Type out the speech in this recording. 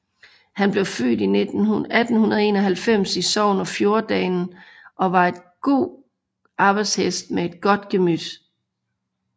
Han blev født i 1891 i Sogn og Fjordane og var en god arbejdshest med et godt gemyt